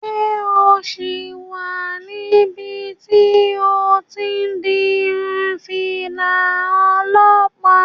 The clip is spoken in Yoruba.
Ṣé o sì wà níbi tí o ti n di irun fìlà olọ́pàá?